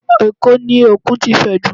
Ẹ̀kó ni Òkun ti fẹjú jù